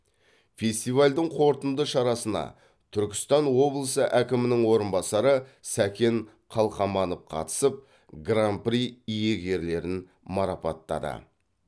фестивальдің қорытынды шарасына түркістан облысы әкімінің орынбасары сәкен қалқаманов қатысып гран при иегерлерін марапаттады